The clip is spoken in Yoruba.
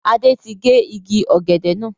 Adé tí gé igi ọ̀gẹ̀dẹ̀ náà.